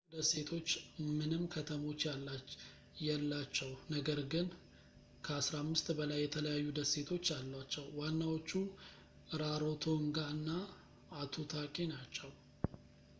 ኩክ ደሴቶች ምንም ከተሞች የላቸው ነገር ግን ከ15 በላይ የተለያዩ ደሴቶች አሏቸው ዋናዎቹ ራሮቶንጋ እና ኤቱታኪ ናቸው